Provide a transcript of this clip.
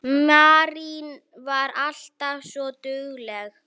Marín var alltaf svo dugleg.